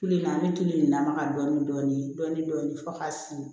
Tulu in na an bɛ tulu in na maga dɔɔnin fo k'a sin